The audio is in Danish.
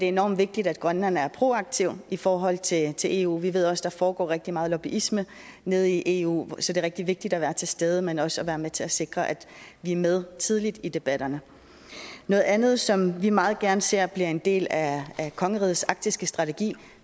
enormt vigtigt at grønland er proaktiv i forhold til til eu vi ved også at der foregår rigtig meget lobbyisme nede i eu så det er rigtig vigtigt at være til stede men også at være med til at sikre at vi er med tidligt i debatterne noget andet som vi meget gerne ser bliver en del af kongerigets arktiske strategi